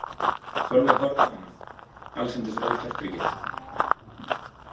Sólveig horfði á hana allsendis ótortryggin.